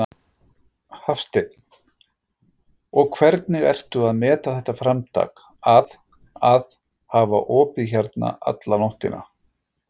Hafsteinn: Og hvernig ertu að meta þetta framtak að, að hafa opið hérna alla nóttina?